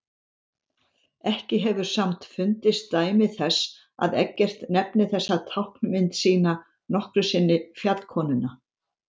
Ekki hefur samt fundist dæmi þess að Eggert nefni þessa táknmynd sína nokkru sinni fjallkonuna.